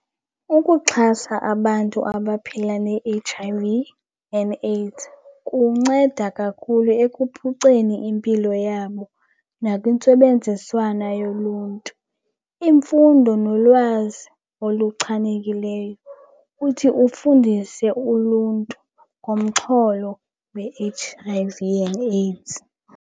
Ukuxhasa abantu abaphila ne-H_I_V and AIDS kunceda kakhulu ekuphuceni impilo yabo nakwintsebenziswana yoluntu. Imfundo nolwazi oluchanekileyo, uthi ufundise uluntu ngomxholo we-H_I_V and AIDS.